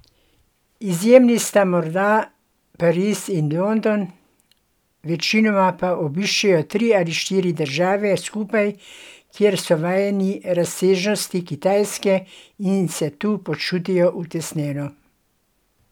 Izjemi sta morda Pariz ali London, večinoma pa obiščejo tri ali štiri države skupaj, ker so vajeni razsežnosti Kitajske in se tu počutijo utesnjeno.